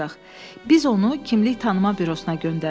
Biz onu kimlik tanıma bürosuna göndərdik.